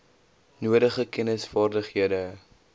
nodige kennis vaardighede